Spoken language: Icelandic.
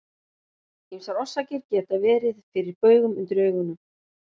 Ýmsar orsakir geta verið fyrir baugum undir augunum.